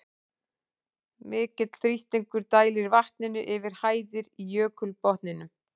Mikill þrýstingur dælir vatninu yfir hæðir í jökulbotninum.